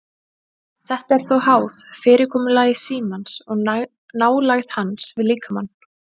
Þetta er þó háð fyrirkomulagi símans og nálægð hans við líkamann.